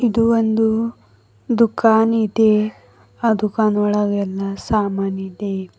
ಅದು ಒಂದು ದುಖಾನಿದೆ ಅ ದುಖಾನೊಳಗೆಲ್ಲಾ ಸಾಮಾನಿದೆ.